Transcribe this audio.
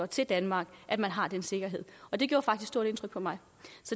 til danmark at man har den sikkerhed det gjorde faktisk stort indtryk på mig